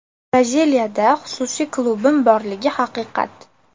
Braziliyada xususiy klubim borligi haqiqat.